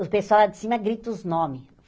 O pessoal lá de cima grita os nomes.